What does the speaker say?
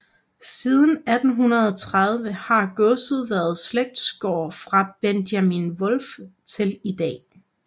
Siden 1830 har godset været slægtsgård fra Benjamin Wolff til i dag